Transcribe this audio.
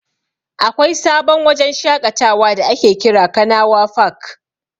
Akwai sabon wajen shaƙatawa da ake kira "Kanawa fak".